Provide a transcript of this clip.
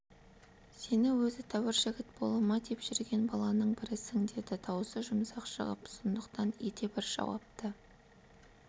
сені өзі тәуір жігіт бола ма деп жүрген баланың бірісің деді даусы жұмсақ шығып сондықтан ете бір жауапты